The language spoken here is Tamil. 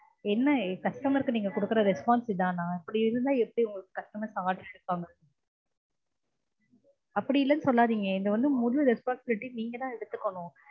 என்ன customer க்கு நீங்க குடுக்குர response இதானா இப்டி இருந்தா எப்டி customer சமாளிச்சு இருப்பாங்க அப்டி இல்லன்னு சொல்லாதீங்க இது வந்து முழு responsibility நீங்க தான் எடுத்துக்கனும்